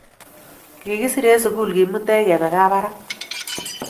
Kikisir en sukul kimutech kepe kabaraka